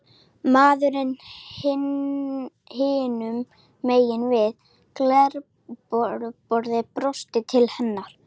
Maðurinn hinum megin við glerborðið brosir til hennar.